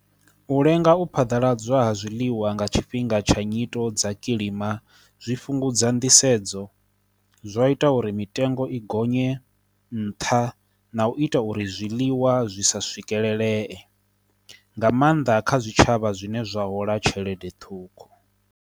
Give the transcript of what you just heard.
U lenga u phaḓaladzwa ha zwiḽiwa nga tshifhinga tsha nyito dza kilima, zwi fhungudza nḓisedzo, zwa ita uri mitengo i gonye nṱha, na u ita uri zwiḽiwa zwi sa swikelele nga maanḓa kha zwitshavha zwine zwa hola tshelede ṱhukhu.